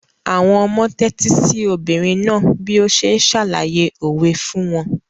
Àwọn ọmọ tẹ́tí sí obìnrin náà bí ó ṣe ń ṣàlàyé òwe fún wọn.